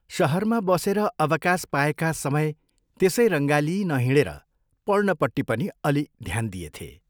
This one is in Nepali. शहरमा बसेर अवकाश पाएका समय त्यसै रङ्गालिई नहिंडेर पढ्नपट्टि पनि अलि ध्यान दिएथे।